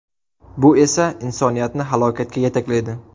Bu esa insoniyatni halokatga yetaklaydi.